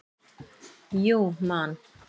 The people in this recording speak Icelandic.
Jú Man.